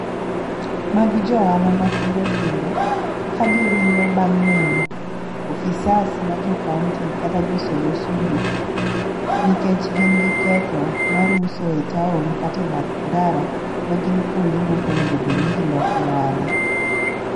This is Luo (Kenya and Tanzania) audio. Magi jo ohala matindo tindo ka giringo bang' neno ofisas ma jo kaunti kata josol usuru nikech gin gi ketho mar uso e taon kate bath ndara ma gin kuonde mok onego bed ni giloke ohala.